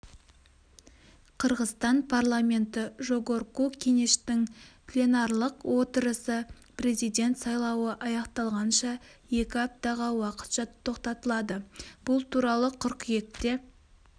қырғызстан парламенті жогорку кенештің пленарлық отырысы президент сайлауы аяқталғанша екі аптаға уақытша тоқтатылады бұл туралы қыркүйекте